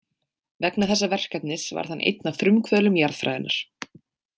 Vegna þessa verkefnis varð hann einn af frumkvöðlum jarðfræðinnar.